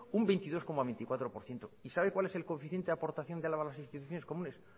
un veintidós coma veinticuatro por ciento sabe cuál es coeficiente aportación de álava a las instituciones comunes